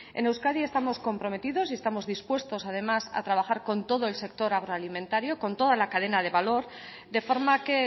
en euskadi estamos comprometidos y estamos dispuestos además a trabajar con todo el sector agroalimetario con toda la cadena de valor de forma que